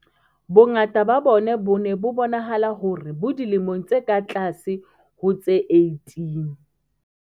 Bongata ba bona bo ne bo bonahala hore bo dilemong tse ka tlase ho tse 18.